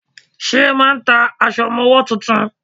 Ṣẹ́ máà ń ta aṣọ ọmọwọ́ tuntun?